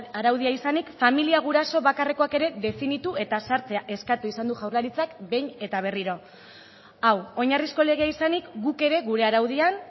araudia izanik familia guraso bakarrekoak ere definitu eta sartzea eskatu izan du jaurlaritzak behin eta berriro hau oinarrizko legea izanik guk ere gure araudian